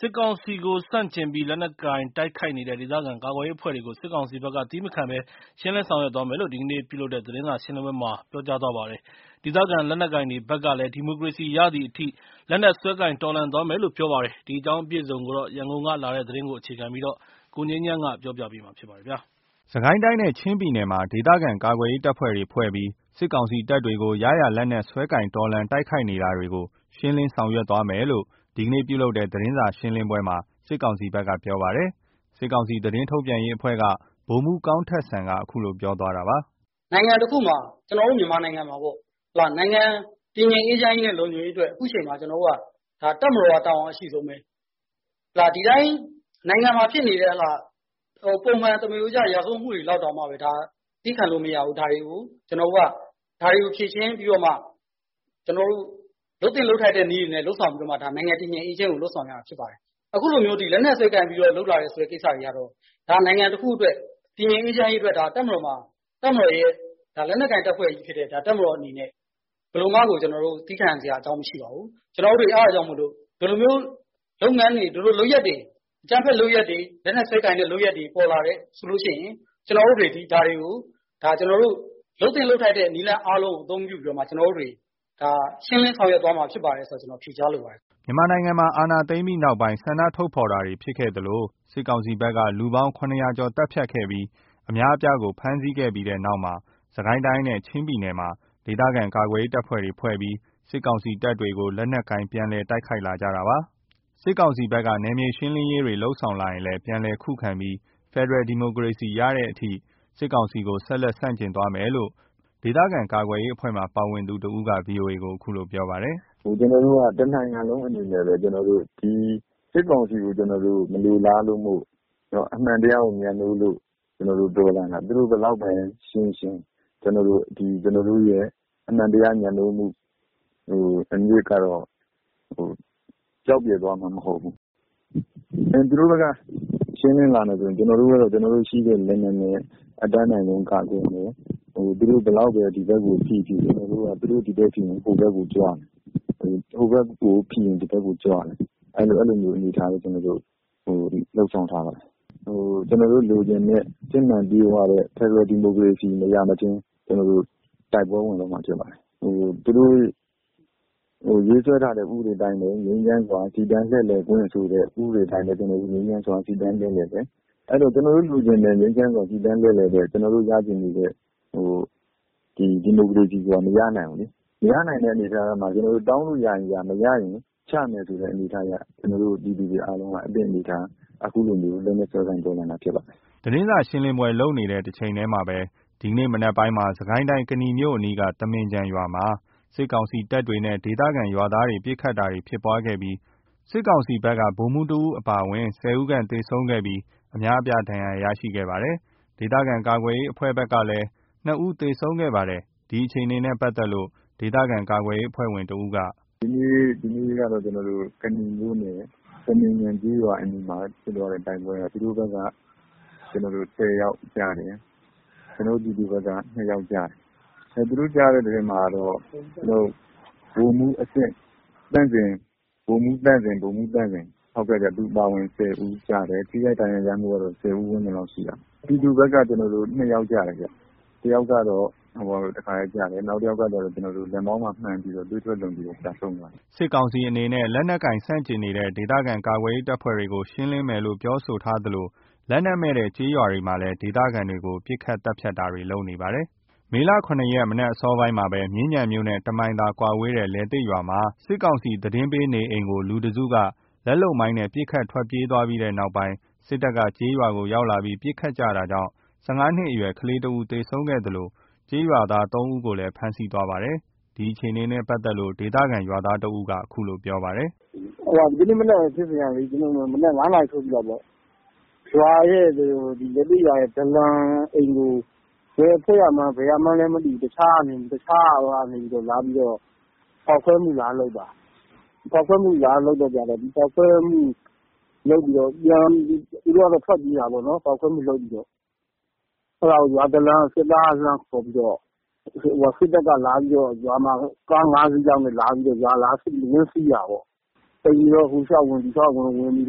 စစ်ကောင်စီကို ဆန့်ကျင်ပြီး လက်နက်ကိုင်တိုက်ခိုက်နေတဲ့ ဒေသခံ ကာကွယ်ရေးအဖွဲ့တွေကို စစ်ကောင်စီဘက်က သည်းမခံဘဲ ရှင်းလင်းဆောင်ရွက်သွားမယ်လို့ ဒီကနေ့ ပြုလုပ်တဲ့ သတင်းစာ ရှင်းလင်းပွဲမှာ ပြောပါတယ်။ ဒေသခံလက်နက်ကိုင်တွေဘက်ကလည်း ဒီမိုကရေစီရသည်အထိ လက်နက် စွဲကိုင်တော်လှန်သွားမယ်လို့ ပြောပါတယ်။ ဒီအကြောင်းအပြည့်အစုံ ရန်ကုန်ကလာတဲ့သတင်းကို ကိုငြိမ်းချမ်းက ပြောပြပါမယ်။ စစ်ကိုင်းတိုင်းနဲ့ ချင်းပြည်နယ်တို့မှာ ဒေသခံကာကွယ်ရေးတပ်ဖွဲ့တွေဖွဲ့ပြီး စစ်ကောင်စီတပ်တွေကို ရရာလက်နက်စွဲကိုင် တော်လှန်တိုက်ခိုက်နေတာတွေကို ရှင်းလင်းဆောင်ရွက်သွားမယ်လို့ ဒီကနေ့ပြုလုပ်တဲ့ သတင်းစာရှင်းလင်းပွဲမှာ စစ်ကောင်စီဘက်က ပြောပါတယ်။ ဒီအခြေအနေကိုတော့ စစ်ကောင်စီသတင်းထုတ်ပြန်ရေးအဖွဲ့က ဗိုလ်မှူးကောင်းထက်စံက အခုလိုပြောသွားတာပါ။ “နိုင်ငံတခုမှာ ကျွန်တော်တို့ မြန်မာနိုင်ငံမှာပေါ့ နိုင်ငံတည်ငြိမ်အေးချမ်းရေးနဲ့ လုံခြုံရေးအတွက် အခုချိန်မှာ ကျွန်တော်တို့က တပ်မတော်က တာဝန်အရှိဆုံးပဲ။ ဒီတိုင်းနိုင်ငံမှာ ဖြစ်ကျ ပုံမှန်သမရိုးကျ ရာဇဝတ်မှုတွေ လောက်တောင် သည်းခံလို့မရဘူး။ ဒါတွေကိုကျွန်တော်တို့က ဖြေရှင်းပြီးတော့မှ လုပ်သင့်လုပ်ထိုက်တဲ့ နည်းတွေ လုပ်ဆောင်ပြီးတော့မှ နိုင်ငံတည်ငြိမ်အေးချမ်းရေးကို လုပ်ဆောင်ရတာဖြစ်ပါတယ်။ အခုလို လက်နက်စွဲကိုင်ပြီး လုပ်လာတယ်ဆိုတဲ့ကိစ္စက နိုင်ငံတခုအတွက် တည်ငြိမ်အေးချမ်းရေးအတွက် လက်နက်ကိုင် တပ်ဖွဲ့ကြီးဖြစ်တဲ့ တပ်မတော်အနေနဲ့ ဘယ်လိုမှကို သည်းခံနိုင်စရာ အကြောင်းမရှိပါဘူး။ ကျွန်တော်တို့တွေ အဲ့ဒါကြောင့်မို့လို့ ဒီလိုမျိုး လုပ်ငန်းတွေ လုပ်ရပ်တွေ အကြမ်းဖက်လုပ်ရပ်တွေ လက်နက်စွဲကိုင်တဲ့ လုပ်ရပ်တွေပေါ်လာတယ်ဆိုလို့ရှိရင် ကျွန်တော်တို့တွေသည် ဒါတွေကို ကျွန်တော်တို့ လုပ်သင့်လုပ်ထိုက်တဲ့ နည်းလမ်းတွေလုပ်ဆောင်ပြီး ရှင်းလင်းဆောင်ရွက်သွားမယ်လို့ ဖြေကြားလိုပါတယ်။” စစ်ကောင်စီ အာဏာသိမ်းပြီးနောက်ပိုင်း မြန်မာနိုင်ငံတဝှမ်း ဆန္ဒထုတ်ဖော်တာတွေဖြစ်ခဲ့သလို စစ်ကောင်စီဘက်က လူပေါင်း ၇၀၀ ကျော် သတ်ဖြတ်ခဲ့ပြီး အများအပြားကို ဖမ်းဆီးခဲ့တဲ့ နောက်မှာပဲ စစ်ကိုင်းတိုင်း နဲ့ ချင်းပြည်နယ်တို့မှာ ဒေသခံကာကွယ်ရေးတပ်ဖွဲ့တွေဖွဲ့ပြီး စစ်ကောင်စီတပ်တွေကို လက်နက်ကိုင်ပြီး ပြန်လည် တိုက်ခိုက်လာကြတာဖြစ်ပါတယ်။ စစ်ကောင်စီဘက်က နယ်မြေရှင်းလင်းတာတွေ လုပ်ဆောင်လာရင်လည်း ပြန်လည်ခုခံပြီး ဖက်ဒရယ်ဒီမိုကရေစီရသည်အထိ စစ်ကောင်စီကို ဆက်လက်ဆန့်ကျင်သွားမယ်လို့ ဒေသခံကာကွယ်ရေးအဖွဲ့မှာ ပါဝင်သူတဦးက ဗွီအိုအေကို အခုလိုပြောပါတယ်။ “ကျွန်တော်တို့က တနိုင်ငံလုံးအနေနဲ့ စစ်ကောင်စီကို မလိုလားလို့ အမှန်တရားကိုမြတ်နိုးလို့တော်လှန်တာ သူတို့ဘယ်လောက်ပဲ ရှင်းရှင်း ကျွန်တော်တို့ရဲ့ အမှန်တရား မြတ်နိုးမှုအမြစ်ကတော့ ပျောက်ပျယ်သွားမှာ မဟုတ်ဘူး။ သူတို့ဘက်ကရှင်းလင်းလာရင်လည်း ကျွန်တော်တို့ဘက်က ရှိတဲ့လက်နက်နဲ့ အတတ်နိုင်ဆုံး ကာကွယ်မယ်။ သူတို့ဘယ်လောက်ပဲဒီဘက်ကိုဖိဖိ သူတို့ဒီဘက်ကိုဖိရင် ကျွန်တော်တို့က ဟိုဘက်ကိုကြွမယ်။ ဟိုဘက်ကိုဖိရင်ဒီဘက်ကိုကြွမယ်။ ကျွန်တော်တို့အဲ့လိုလုပ်ဆောင်ထားတယ်။ ကျွန်တော်တို့လိုချင်တဲ့ စစ်မှန်ပြည့်ဝတဲ့ ဒီမိုကရေစီမရမချင်း တိုက်ပွဲဝင်သွားမှာဖြစ်ပါတယ်။ သူတို့ရေးဆွဲထားတဲ့ ဥပဒေအတိုင်းပဲ ငြိမ်းချမ်းစွာ စီတန်းလှည့်လည် ခွင့်ဆိုတဲ့ ဥပဒေအတိုင်းပဲ ကျွန်တော်တို့ ငြိမ်းချမ်းစွာ စီတန်းလှည့်လည်တယ်။ ကျွန်တော်တို့လိုချင်တဲ့ ငြိမ်းချမ်းစွာ စီတန်းတဲ့ ကျွန်တော်တို့ရချင်တဲ့ ဒီမိုကရေစီဆိုတာ မရနိုင်ဘူးလေ။ မရနိုင်တဲ့အနေအထားမှာ ကျွန်တော်တို့ တောင်းလို့ရရင်ရ မရရင် ချမယ်ဆိုတဲ့ အနေအထားအရ လူတွေအားလုံးက အသင့်အနေအထား အခုလို လက်နက်စွဲကိုင်တော်လှန်တာဖြစ်ပါတယ်။” စစ်ကောင်စီက ရှင်းလင်းရေးတွေ လုပ်မယ်လို့ သတင်းစာ ရှင်းလင်းပွဲမှာ ပြောချိန်နဲ့ တနေ့တည်းမှာပဲ ဒီကနေ့ နက်ပိုင်းမှာပဲ စစ်ကိုင်းတိုင်း ကနီမြို့အနီးက သမင်ခြံရွာမှာ စစ်ကောင်စီတပ်တွေနဲ့ ဒေသခံရွာသားတွေ ပစ်ခတ်တာတွေ ဖြစ်ပွားခဲ့ပြီး စစ်ကောင်စီဘက်က ဗိုလ်မှူး တဦးအပါအဝင် ၁၀ ဦးခန့် သေဆုံးခဲ့ပြီး အများအပြား ဒဏ်ရာရရှိခဲ့သလို ဒေသခံကာကွယ်ရေးအဖွဲ့ဘက်က ၂ ဦး သေဆုံးခဲ့ပါတယ်။ ဒီအခြေအနေနဲ့ပတ်သက်လို့ ဒေသကာကွယ်ရေးအဖွဲ့ဝင် တဦးက “ဒီနေ့ကတော့ ကနီမြို့နယ် သမင်ခြံကျေးရွာအနီးမှာ ဖြစ်သွားတဲ့ တိုက်ပွဲက သူတို့ဘက်က ၁၀ ယောက်ကျတယ်။ ပြည်သူဘက်က ၂ ယောက်ကျတယ်။ သူတို့ကျတဲ့သတင်းမှာတော့ ဗိုလ်မှူးသန့်ဇင် အပါအဝင် ၁၀ ဦးကျတယ်။ ထိခိုက်ဒဏ်ရာ ရမှုကတော့ ၁၀ ဦးဝန်းကျင်လောက်ရှိတာပေါ့။ ပြည်သူဘက်က ၂ ယောက်ကျတယ်ဗျ။ တယောက်က တခါတည်းကျတယ်။ နောက်တယောက်ကကျတော့ လက်မောင်းမှာမှန်ပြီး သွေးထွက်လွန်ပြီး ဆုံးသွားတယ်။” စစ်ကောင်စီအနေနဲ့ လက်နက်ကိုင်ဆန့်ကျင်နေတဲ့ ဒေသခံကာကွယ်ရေး တပ်ဖွဲ့တွေကို ရှင်းလင်းမယ်လို့ ပြောဆိုသလို လက်နက်မဲ့တဲ့ ကျေးရွာတွေမှာလည်း ဒေသခံတွေကို ပစ်ခတ်တာသတ်ဖြတ်တာတွေ လုပ်နေပါတယ်။ ဒီကနေ့ မေ ၇ ရက် မနက်အစောပိုင်းမှာ မြင်းခြံမြို့နဲ့ ၁ မိုင်ခွဲသာဝေးတဲ့ လယ်သစ်ရွာမှာ စစ်ကောင်စီ သတင်းပေးနေအိမ်ကို လူတစုက လက်လုပ်မိုင်းနဲ့ ပစ်ခတ်ပြီး ထွက်ပြေးသွားတဲ့နောက်မှာပဲ စစ်တပ်က ကျေးရွာကို ရောက်လာပြီး ပစ်ခတ်တာကြောင့် ၁၅ နှစ်အရွယ် ကလေးငယ်တဦးသေဆုံးခဲ့သလို ကျေးရွာသား ၃ ဦးကိုလည်း ဖမ်းဆီးသွားပါတယ်။ ဒီအခြေအနေနဲ့ပတ်သက်လို့ ဒေသခံ ရွာသားတဦးက အခုလိုပြောပါတယ်။ “ဒီနေ့မနက် ဖြစ်စဉ်ကလေ မနက် ၅ နာရီလောက်မှာ လယ်သစ်ရွာရဲ့ ဒလံအိမ်ကို ဘယ်အဖွဲ့ကမှန်း မသိဘူး။ တခြားကပဲဖောက်ခွဲမှုလာလုပ်တာ ဖောက်ခွဲပြီးလုပ်ပြီးတော့ သူတို့ကတော့ ထွက်ပြေးတာပေါ့နော်။ ဖောက်ခွဲမှု လုပ်ပြီးတော့ ရွာဒလံက စစ်သားကိုလှမ်းခေါ်ပြီးတော့ စစ်တပ်ကလာပြီးတော့ ရွာမှာ ကား ၅ စီးလောက်နဲ့ လာပြီးတော့ ဝင်စီးတာပေါ့။ အိမ်တွေကော ဟိုလျှောက်ဝင် ဒီလျှောက်ဝင် ဝင်ပြီး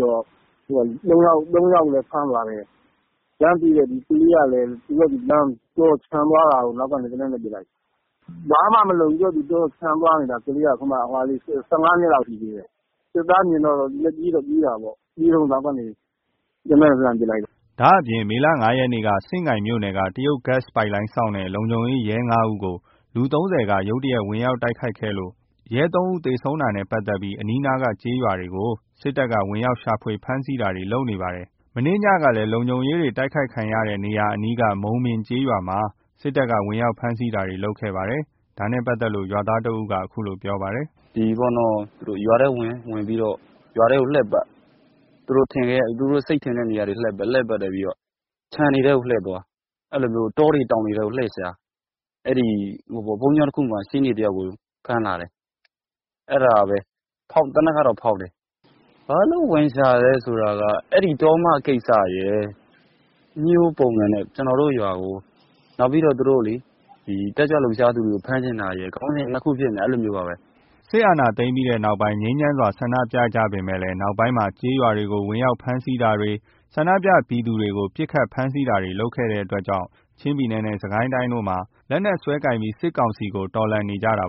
တော့ ၃ ယောက်ကိုလည်း ဖမ်းသွားတယ်။ လမ်းတွေ့တဲ့ ကလေးကလည်း သူ့ဘာသာ ခြံသွားတာကို အနောက်ကနေ သေနတ်နဲ့ ပစ်လိုက်တ်။ ဘာမှမလုပ်ဘူး။ ကလေးက သူ့ဘာသာခြံသွားတာ ကလေးက အခုမှ ၁၅ နှစ်လောက်လေး ရှိသေးတယ်။ စစ်သားမြင်တော့သူလည်း ပြေးတော့ပြေးတာပေါ့။ ပြေးတုန်း အနောက်ကနေ သေနတ်နဲ့ လှမ်းပစ်လိုက်တာ။” ဒါ့အပြင် မေ ၅ ရက်က စဉ့်ကိုင်မြို့နယ်က တရုတ်ဂတ်စ်ပိုက်လိုင်းစောင့်တဲ့ လုံခြုံရေး ရဲ ၅ ဦးကို လူ ၃၀ ခန့်က ဝင်ရောက်တိုက်ခိုက်ခဲ့လို့ ရဲ ၃ ဦး သေဆုံးတာနဲ့ ပတ်သက်ပြီး အနီးနားကကျေးရွာတွေကို စစ်တပ်က ဝင်ရောက်ရှာဖွေဖမ်းဆီးတာတွေ လုပ်နေပါတယ်။ မနေ့ညကလည်း လုံခြုံရေးတွေ တိုက်ခိုက်ခံရတဲ့ အနီးက မုန်ပင်ကျေးရွာမှာ စစ်တပ်က ဝင်ရောက်ဖမ်းဆီးတာတွေလုပ်ခဲ့ပါတယ်။ ဒါနဲ့ပတ်သက်လို့ ရွာသားတဦးက အခုလိုပြောပါတယ်။ “ရွာထဲဝင် ရွာထဲကိုဝင်ပြီးလှည့်ပတ် သူတို့စိတ်ထင်တဲ့နေရာတွေလှည့်ပတ် ခြံတွေထဲကို လှည့်သွား တောတွေ တောင်တွေထဲလှည့်ရှာ ဘုန်းကြီးကျောင်းတခုမှာ ရှေ့နေတယောက်ကိုဖမ်းလာတယ်။ အဲ့ဒါပဲသေနတ်ကဖောက်တယ်။ ဘာလို့ဝင်ရှာတာလည်းဆိုတော့ တောမကိစ္စရယ် အညှိးပုံစံနဲ့ ကျွန်တော်တို့ ရွာကို နောက်ပြီး တက်ကြွလှုပ်ရှားသူတွေကို ဖမ်းချင်တာရယ် ခေါင်းစဉ် ၂ ခုဖြစ်နေတယ်။” စစ်တပ်က အာဏာသိမ်းပြီးနောက်ပိုင်း ငြိမ်းချမ်းစွာ ဆန္ဒပြကြပေမယ့် နောက်ပိုင်းမှာ ကျေးရွာတွေကို ဝင်ရောက် ဖမ်းဆီးတာတွေ ဆန္ဒပြပြည်သူတွေကို ပစ်ခတ် ဖမ်းဆီးတာတွေ လုပ်လာတဲ့အတွက်ကြောင့် ချင်းပြည်နယ်နဲ့ စစ်ကိုင်းတိုင်းတို့မှာ လက်နက်စွဲကိုင်ပြီး စစ်ကောင်စီကို တော်လှန်နေကြတာ